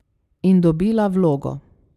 In dobila vlogo.